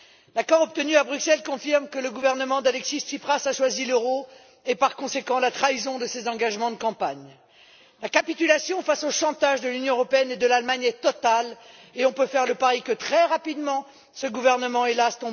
L'accord obtenu à Bruxelles confirme que le gouvernement d'Alexis Tsipras a choisi l'euro et, par conséquent, la trahison de ses engagements de campagne. La capitulation face au chantage de l'Union européenne et de l'Allemagne est totale et on peut faire le pari que, très rapidement, ce gouvernement hélas!